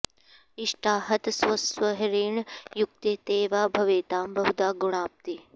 इष्टाहत स्वस्वहरेण युक्ते ते वा भवेतां बहुधा गुणाप्ती